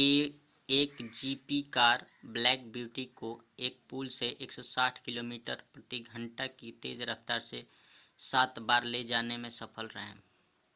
a1gp car black beauty को एक पुल से 160 किलोमीटर/घंटा से तेज़ रफ़्तार से सात बार ले जाने में सफल रहे